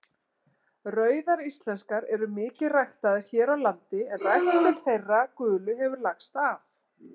Rauðar íslenskar eru mikið ræktaðar hér á landi en ræktun þeirra gulu hefur lagst af.